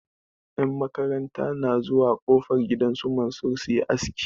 Yan makaranta na zuwa kofar gidan su Mansir su yi aski.